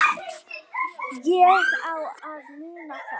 Ég á að muna það.